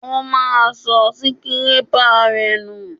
Ó máa sọ síkirépà rẹ̀ nù